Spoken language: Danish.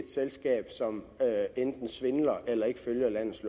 selskab som enten svindler eller ikke følger landets